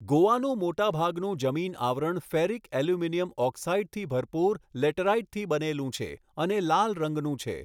ગોવાનું મોટાભાગનું જમીન આવરણ ફેરિક એલ્યુમિનિયમ ઓક્સાઇડથી ભરપૂર લેટરાઇટથી બનેલું છે અને લાલ રંગનું છે.